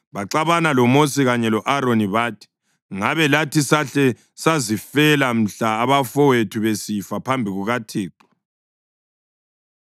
Baxabana loMosi kanye lo-Aroni bathi, “Ngabe lathi sahle sazifela mhla abafowethu besifa phambi kukaThixo!